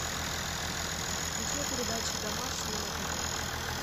включи передачу домашний на тв